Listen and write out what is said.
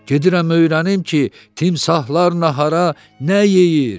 Gedirəm öyrənim ki, timsahlar nahara nə yeyir!